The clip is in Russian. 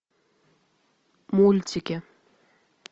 мультики